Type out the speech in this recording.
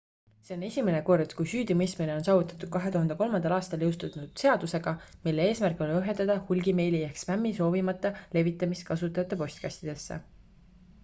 see on esimene kord kui süüdimõistmine on saavutatud 2003 aastal jõustatud seaduseg mille eesmärk oli ohjeldada hulgimeili ehk spämmi soovimata levitamist kasutajate postkastidesse